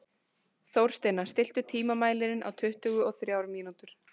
Þórsteina, stilltu tímamælinn á tuttugu og þrjár mínútur.